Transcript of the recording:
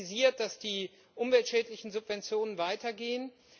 Sie haben kritisiert, dass die umweltschädlichen Subventionen weitergehen.